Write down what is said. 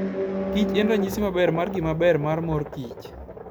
kich en ranyisi maber mar ngima maber mar mor kich.